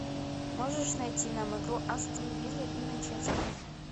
можешь найти нам игру астон вилла и манчестера